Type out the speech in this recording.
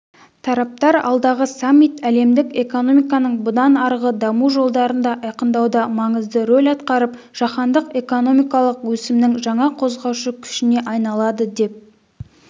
тараптар алдағы саммит әлемдік экономиканың бұдан арғы даму жолдарын айқындауда маңызды рөл атқарып жаһандық экономикалық өсімнің жаңа қозғаушы күшіне айналады деп